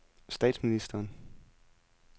statsministeren